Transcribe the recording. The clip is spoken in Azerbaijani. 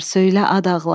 söylə ad ağlar.